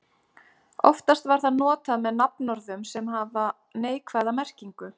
Oftast var það notað með nafnorðum sem hafa neikvæða merkingu.